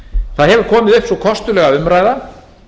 það hefur komið upp sú kostulega umræða